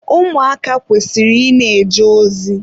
Ụmụaka kwesịrị ị na-eje ozi.